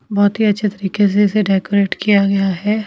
बहुत ही अच्छे तरीके से इसे डेकोरेट किया गया है.